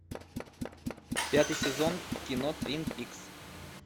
пятый сезон кино твин пикс